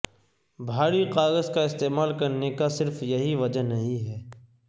بھاری کاغذ کا استعمال کرنے کا صرف یہی وجہ نہیں ہے